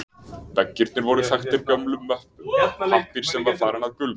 Veggirnir voru þaktir gömlum möppum, pappír sem var farinn að gulna.